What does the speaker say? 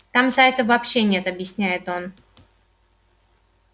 там сайтов вообще нет объясняет он